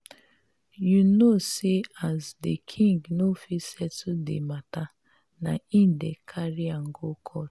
you know sey as di king no fit settle di mata na im dem carry am go court.